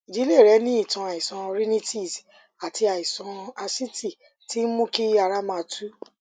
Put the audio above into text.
ìdílé rẹ ní ìtàn àìsàn rhinitis àti àìsàn asítì tí ń mú kí ara máa tú